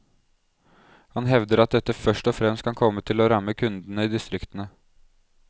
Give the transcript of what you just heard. Han hevder at dette først og fremst kan komme til å ramme kundene i distriktene.